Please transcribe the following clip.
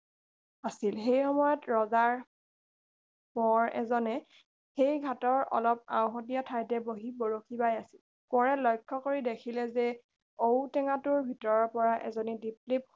আছিল সেই সময়ত ৰজাৰ কোঁৱৰ এজনে সেই ঘাটৰ অলপ আওহতীয়া ঠাইতে বহি বৰশী বাই আছিল কোঁৱৰে লক্ষ্য কৰি দেখিলে যে ঔ টেঙাটোৰ ভিতৰৰপৰা এজনী দীপ লিপ